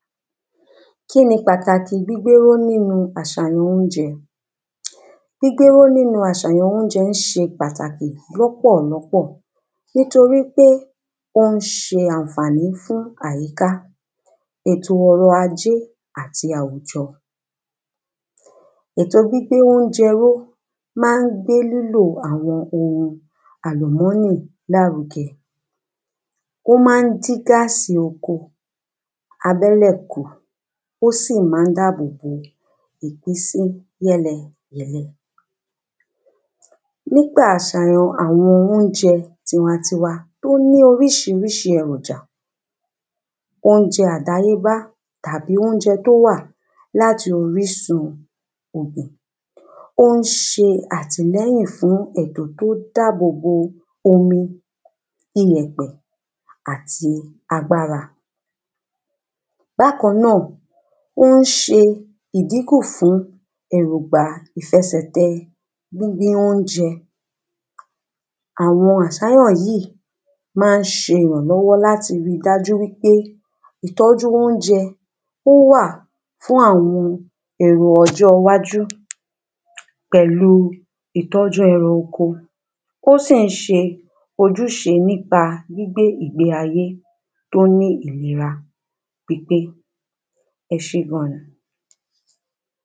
Kí ni pàtàkì gbígbéró nínu àsàyàn oúnjè̩? Gbígbéró nínu àsàyàn oúnjè̩ s̩e pàtàkì ló̩pò̩ló̩pò̩. Nítorípé ó ń s̩e pàtàkì fún àyíká, ètò o̩rò̩ ajé àti àwùjo̩ Ètò gbígbé óúnjè̩ ró má ń gbé lílò àwo̩n ohun àlùmó̩nnì láruge̩. Ó má ń dín gásì oko abé̩lè̩ kù. Ó sì má ń dábò bo ìpínsí yé̩le̩ yè̩le̩. Nígbà àsàyàn àwo̩n oúnje̩ tiwantiwa tó ní orísirísi èròjà. Oúnje̩ àdáyébá tàbí óúnje̩ tó wà láti orísun ògùn. Ó ń se àtìle̩yìn fún ètò tó dábò bo omi, iyè̩pè̩ àti agbára. Bákan nó̩ò̩ ó ń s̩e ìdínkù fún èrògbà ìfe̩sè̩te̩ gbígbín óunje̩. Àwo̩n àsàyàn yìí má ń s̩e ìránló̩wó̩ láti ri dájú wipé ìtó̩jú óúnje̩ ó wà fún àwo̩n èrò o̩jó̩ iwájú pè̩lu ìtó̩jú e̩ran oko. Ó sì ń s̩e ojús̩e nípa gbígbé ìgbé ayé tó ní ìlera pípé.